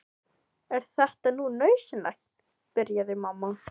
Er þetta nú nauðsynlegt, byrjaði mamma.